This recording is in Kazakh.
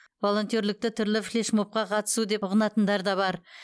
волонтерлікті түрлі флеш мобқа қатысу деп ұғынатындар да бар